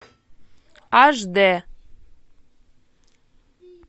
аш д